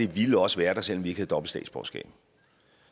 ville også være der selv om vi ikke om dobbelt statsborgerskab